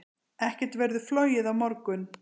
Ekkert verður flogið á morgun.